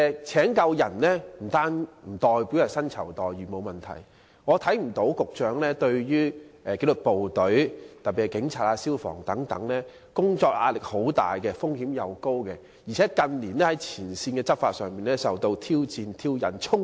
雖然薪酬待遇方面沒有問題，但紀律部隊，特別是警察、消防員等工作壓力很大，風險也很高，而且他們近年在前線執法時經常受到挑戰、挑釁和衝擊。